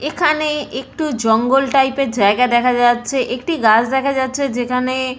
এখানে একটু জঙ্গল টাইপের জায়গা দেখা যাচ্ছে একটি গাছ দেখা যাচ্ছে যেখানে-এ--